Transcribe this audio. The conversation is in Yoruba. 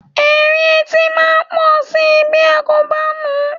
Èérí etí máa pọ̀ si bí a kò bá nù ú.